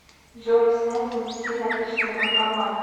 джой снять внести наличные банкомат